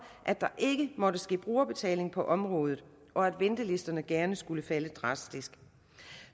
at der ikke måtte ske brugerbetaling på området og at ventelisterne gerne skulle falde drastisk